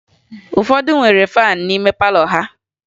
Ụfọdụ ndị nwere faan n'ime palọ ha